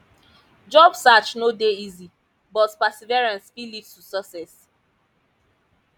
job search no dey easy but perseverance fit lead to success